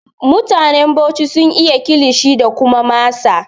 Mutanen Bauchi sun iya Kilishi da kuma masa